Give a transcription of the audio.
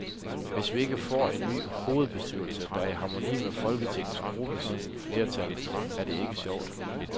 Hvis vi ikke får en ny hovedbestyrelse, der er i harmoni med folketingsgruppens flertal, er det ikke sjovt.